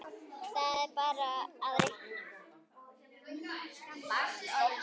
Svo er bara að reikna.